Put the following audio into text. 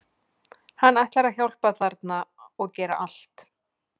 Hann ætlar að hjálpa þarna og gera allt.